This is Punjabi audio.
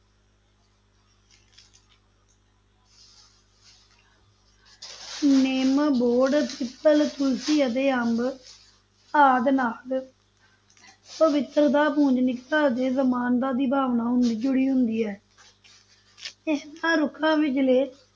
ਨਿੰਮ, ਬੋਹੜ, ਪਿੱਪਲ, ਤੁਲਸੀ ਅਤੇ ਅੰਬ ਆਦਿ ਨਾਲ ਪਵਿੱਤਰਤਾ, ਪੂਜਨੀਕਤਾ ਤੇ ਸਮਾਨਤਾ ਦੀ ਭਾਵਨਾ ਜੁੜੀ ਹੁੰਦੀ ਹੈ ਇਨ੍ਹਾਂ ਰੁੱਖਾਂ ਵਿਚਲੇ